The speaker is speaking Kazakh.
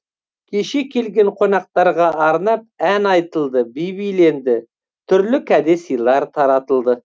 кешке келген қонақтарға арнап ән айтылды би биленді түрлі кәде сыйлар таратылды